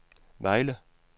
Vejle